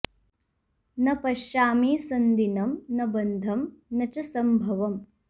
न पश्यामि सन्दीनं न बन्धं न च संभवम्